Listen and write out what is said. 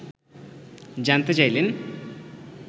জানতে চাইলেন